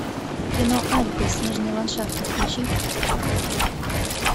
кино альпы снежные ландшафты включи